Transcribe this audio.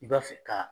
I b'a fɛ ka